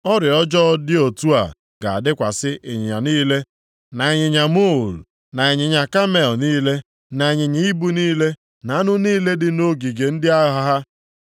Ọrịa ọjọọ dị otu a ga-adakwasị ịnyịnya niile, na ịnyịnya muul, na ịnyịnya kamel niile, na ịnyịnya ibu niile, na anụ niile dị nʼogige ndị agha ha.